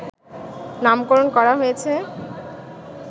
নামকরণ করা হয়েছে